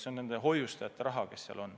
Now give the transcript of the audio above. See on hoiustajate raha.